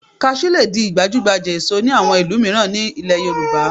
Kaṣú lè di gbajúgbajà èso ní àwọn ìlú mìíràn nílẹ̀ Yorùbá